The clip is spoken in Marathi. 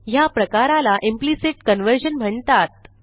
ह्या प्रकाराला इम्प्लिसिट कन्व्हर्जन म्हणतात